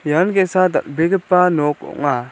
ian ge·sa dal·begipa nok ong·a.